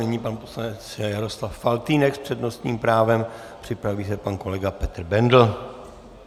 Nyní pan poslanec Jaroslav Faltýnek s přednostním právem, připraví se pan kolega Petr Bendl.